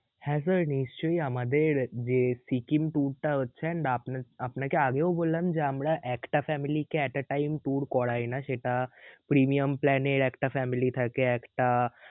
হ্যাঁ sir নিশ্চয়ই আমাদের যে সিকিম tour টা হচ্ছে and আপনাকে আগেও বললাম যে আমরা একটা family কে at a time tour করাই না সেটা premium plan এ একটা family থাকে একটা